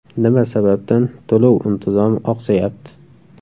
Nima sababdan to‘lov intizomi oqsayapti?